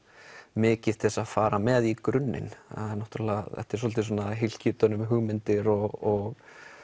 mikið að fara með í grunninn þetta er svolítið svona hylki utan um hugmyndir og